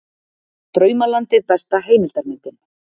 Draumalandið besta heimildarmyndin